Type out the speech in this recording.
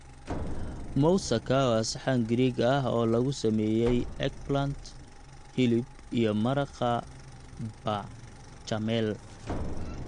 Moussaka waa saxan Giriig ah oo lagu sameeyay eggplant, hilib iyo maraqa b�chamel.